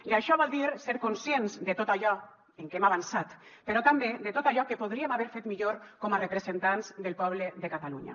i això vol dir ser conscients de tot allò en què hem avançat però també de tot allò que podríem haver fet millor com a representants del poble de catalunya